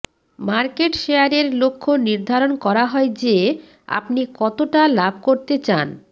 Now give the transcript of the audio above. market শেয়ারের লক্ষ্য নির্ধারণ করা হয় যে আপনি কতটা লাভ করতে চান